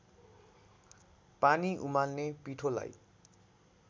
पानी उमाल्ने पिठोलाई